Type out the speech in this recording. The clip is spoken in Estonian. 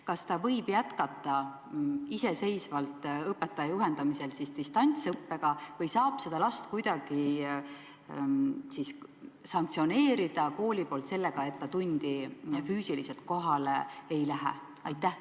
Kas ta võib jätkata iseseisvalt õpetaja juhendamisel distantsõppega või saab kool seda last kuidagi sanktsioneerida, et ta füüsiliselt tundi kohale ei lähe?